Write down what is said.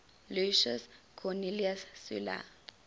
lucius cornelius sulla